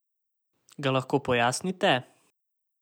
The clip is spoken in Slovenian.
Ga lahko pojasnite?